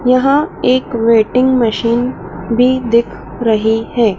यहां एक weighing machine भी दिख रही है।